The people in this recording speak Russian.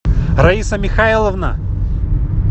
раиса михайловна